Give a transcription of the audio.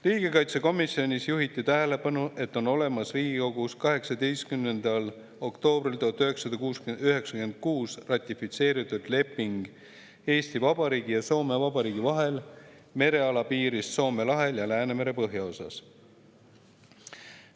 Riigikaitsekomisjonis juhiti tähelepanu, et on olemas Riigikogus 18. oktoobril 1996 ratifitseeritud leping Eesti Vabariigi ja Soome Vabariigi vahel merealapiirist Soome lahel ja Läänemere põhjaosas.